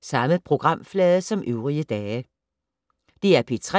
DR P3